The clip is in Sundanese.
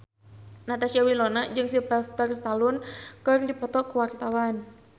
Natasha Wilona jeung Sylvester Stallone keur dipoto ku wartawan